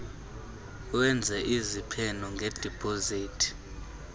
wenze iziphene ngedipozithi